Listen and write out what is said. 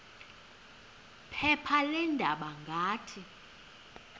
phepha leendaba ngathi